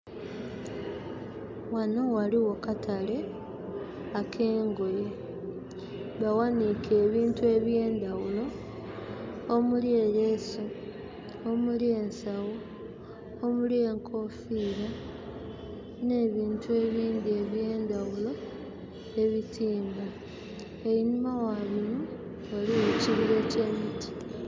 Ghano ghaligho katale ak'engoye. Baghaniike ebintu eby'endaghulo omuli eleesu, omuli ensawo, omuli enkoofira, n'ebintu ebindhi eby'endaghulo ebitimba. Enhuma gha bino ghaligho ekibira eky'emiti.